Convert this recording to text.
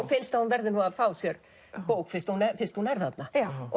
finnst að hún verði að fá sér bók fyrst hún fyrst hún er þarna